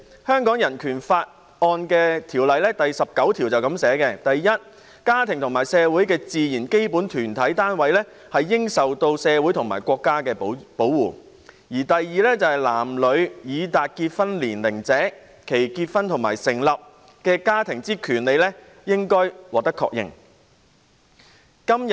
香港人權法案第十九條訂明："一家庭為社會之自然基本團體單位，應受社會及國家之保護"；"二男女已達結婚年齡者，其結婚及成立家庭之權利應予確認。